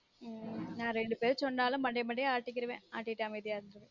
உம் நான் ரெண்டு பேரும் சொன்னாலும் மண்டைய மண்டைய ஆட்டிக்கிருவன் ஆடிட்டு அமைதியா இருந்துருவன்